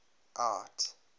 art